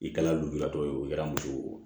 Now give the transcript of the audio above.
I kɛra lujuratɔ ye o kɛra muso ye wo